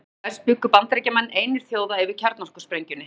Auk þess bjuggu Bandaríkjamenn einir þjóða yfir kjarnorkusprengjunni.